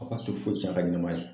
A ka to foyi tiɲɛ a ka ɲɛnɛmaya